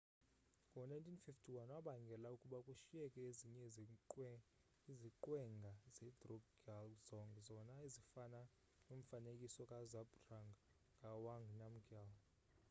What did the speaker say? ngo-1951 wabangela ukuba kushiyeke ezinye iziqwenga zedrukgyal dzong zona ezifana nomfanekiso kazhabdrung ngawang namgyal